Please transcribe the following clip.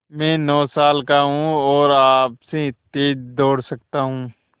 मैं नौ साल का हूँ और आपसे तेज़ दौड़ सकता हूँ